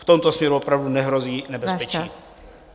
V tomto směru opravdu nehrozí nebezpečí.